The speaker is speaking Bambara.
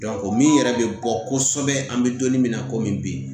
o min yɛrɛ bɛ bɔ kosɛbɛ an bɛ don min na komi bi